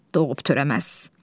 Doğub törəməz.